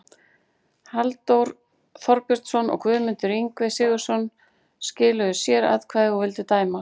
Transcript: Halldór Þorbjörnsson og Guðmundur Ingvi Sigurðsson skiluðu sératkvæði og vildu dæma